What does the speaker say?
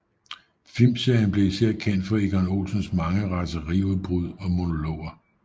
Filmserien blev især kendt for Egon Olsens mange raseriudbrud og monologer